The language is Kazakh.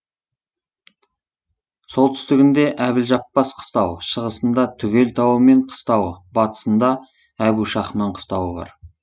солтүстігінде әбілжаппас қыстауы шығысында түгел тауы мен қыстауы батысында әбушахман қыстауы бар